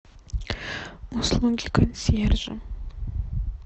услуги консьержа